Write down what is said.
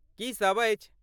की सभ अछि?